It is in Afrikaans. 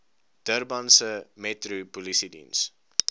durbanse metro polisiediens